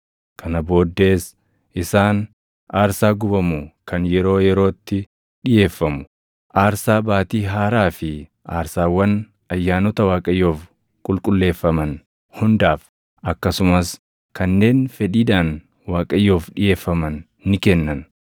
Kana booddees isaan aarsaa gubamu kan yeroo yerootti dhiʼeeffamu, aarsaa Baatii Haaraa fi aarsaawwan ayyaanota Waaqayyoof qulqulleeffaman hundaaf, akkasumas kanneen fedhiidhaan Waaqayyoof dhiʼeeffaman ni kennan.